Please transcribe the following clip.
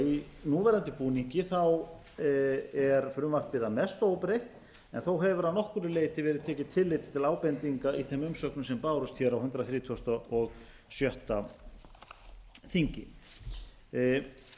í núverandi búningi er frumvarpið að mestu óbreytt en þó hefur að nokkru leyti verið tekið tillit til ábendinga í þeim umsögnum sem bárust hér á hundrað þrítugasta og sjötta þingi hér